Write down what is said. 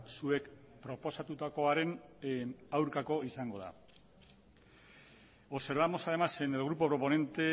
zuek proposatutakoaren aurkako izango dela observamos además en el grupo proponente